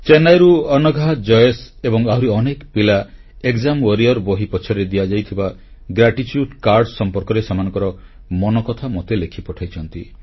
ଚେନ୍ନାଇରୁ ଅନଘା ଜୟେଶ ଏବଂ ଆହୁରି ଅନେକ ପିଲା ଏକ୍ସାମ୍ ୱାରିୟର ବହି ପଛରେ ଦିଆଯାଇଥିବା କୃତଜ୍ଞତା କାର୍ଡ ସମ୍ପର୍କରେ ସେମାନଙ୍କର ମନକଥା ମୋତେ ଲେଖି ପଠାଇଛନ୍ତି